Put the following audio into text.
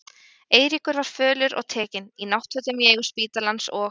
Eiríkur var fölur og tekinn, í náttfötum í eigu spítalans, og